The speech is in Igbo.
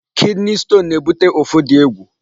Kidney stone na-ebute ụfụ dị egwu.